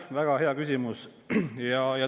Väga hea küsimus.